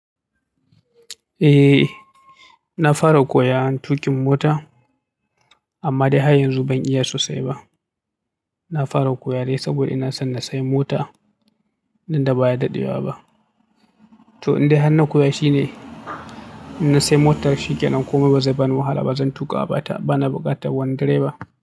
Eh, na fara koya tukin mota amma dai har yanzu ban iya sosai ba. Na fara koya dai saboda ina son na saye mota danda baya daɗewa ba. To inda hannan koya shine in na saye motar shikenan komai bazai bani wahala ba. Zan tuƙa bata bana buƙatar wani direba.